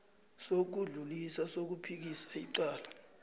sokudlulisa sokuphikisa icala